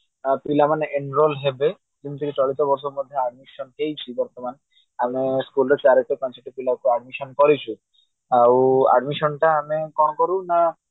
ପିଲାମାନେ enroll ହେବେ ଯେମିତି ଚଳିତ ବର୍ଷ ମଧ୍ୟ admission ହେଇଛି ବର୍ତମାନ ଆମେ schoolରେ ଚାରିଟି ପଞଛୋଟୀ ପିଲାକୁ admission କରିଛୁ ଆଉ admission ଟା ଆମେ କଣ କରୁ ନା